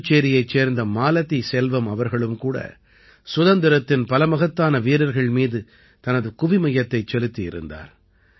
புதுச்சேரியைச் சேர்ந்த மாலதி செல்வம் அவர்களும் கூட சுதந்திரத்தின் பல மகத்தான வீரர்கள் மீது தனது குவிமையத்தைச் செலுத்தியிருந்தார்